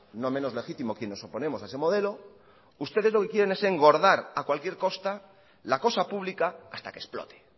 no menos legítimo quienes nos oponemos a ese modelo es engordar a cualquier costa la cosa pública hasta que explote